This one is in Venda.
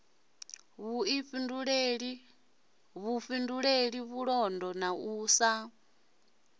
vhuifhinduleli vhulondo na u sa